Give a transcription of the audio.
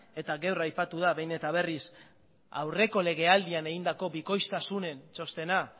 eta gaur aipatu da behin eta berriz aurreko legealdian egindako bikoiztasunen txostena